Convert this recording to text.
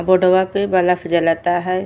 बोर्डवा पे ब्लफ जलता है।